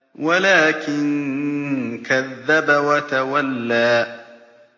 وَلَٰكِن كَذَّبَ وَتَوَلَّىٰ